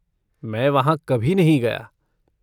मैं वहाँ कभी नहीं गया।